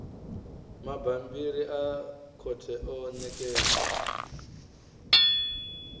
mabammbiri a khothe o ṋekedzwa